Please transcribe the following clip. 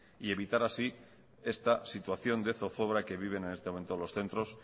y evitar así esta situación de zozobra que viven en este momento los centros